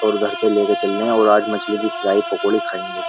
और घर पे लेकर चल रहे हैं और आज मछली की फ्राई पकोड़ी खाएंगे।